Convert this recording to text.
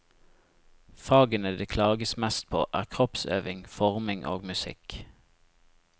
Fagene det klages mest på, er kroppsøving, forming og musikk.